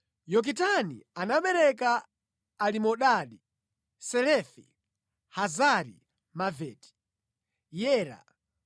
Yokitani anabereka Alimodadi, Selefi, Hazari-Maveti, Yera,